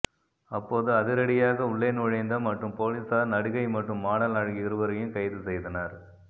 அப்போதுஅதிரடியாக உள்ளே நுழைந்த மற்றும் போலீசார் நடிகை மற்றும் மாடல் அழகி இருவரையும் கைது செய்தனர்